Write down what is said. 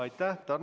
Aitäh!